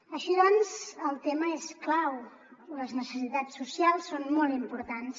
així doncs el tema és clau les necessitats socials són molt importants